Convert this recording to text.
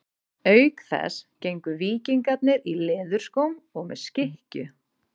Auk þess gengu víkingarnir í leðurskóm og með skikkju.